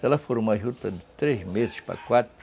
Se ela for uma juta de três meses para quatro,